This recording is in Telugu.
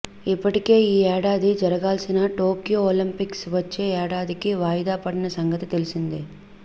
ఇప్పటికే ఈ ఏడాది జరగాల్సిన టోక్యో ఒలింపిక్స్ వచ్చే ఏడాదికి వాయిదా పడిన సంగతి తెలిసిందే